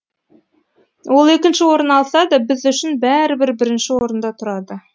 ол екінші орын алса да біз үшін бәрібір бірінші орында тұрады